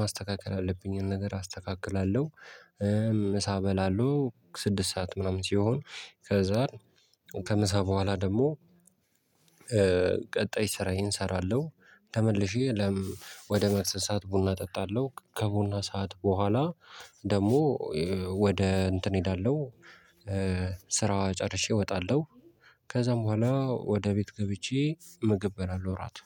ማስተካከል ያለብኝን ነገር አስተካክላለሁ። ምሳ በላለሁ ስድስት ሰዓት ምናምን ሲሆን ከዛ ከምሳ በኋላ ደግሞ ቀጣይ ስራዬን እሰራለሁ። ተመልሼ ወደ መክሰስ ሰዓት ቡና እጠጣለሁ ከቡና ሰዓት በኋላ ደግሞ ወደ እንትን እሄዳለሁ። ስራ ጨርሼ እወጣለሁ። ከዛም በኋላ ወደ ቤት ገብቼ ምግብ በላለሁ እራት